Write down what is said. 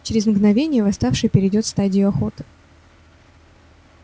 через мгновение восставший перейдёт в стадию охоты